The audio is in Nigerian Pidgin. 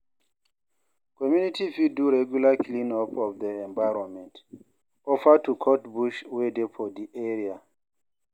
Community fit do regular clean-up of their environment, offer to cut bush wey dey for di area